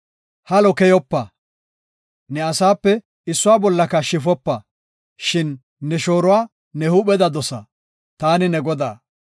“Halo keyopa; ne asaape issuwa bollaka shifopa. Shin ne shooruwa ne huupheda dosa. Taani ne Godaa.